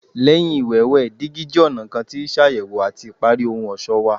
Lẹhin iwẹwẹ, digi jẹ ọna kan ti ṣayẹwo ati ipari ohun ọṣọ wa